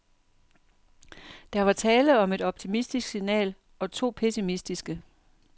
Der var tale om et optimistisk signal og to pessimistiske.